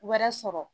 Wɛrɛ sɔrɔ